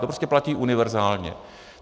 To prostě platí univerzálně.